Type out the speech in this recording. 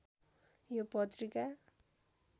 यो पत्रिका